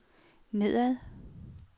nedad